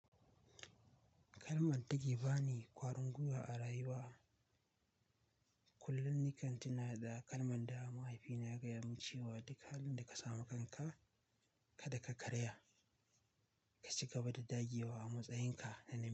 Kalman dake ba ni ƙwarin gwiwa a rayuwa. Kullum nikan tana da kalman da mahaifina ya gaya mun cewa "Duk halin da ka samu kanka, kada ka karaya. Ka cigaba da dagewa a matsayin ka."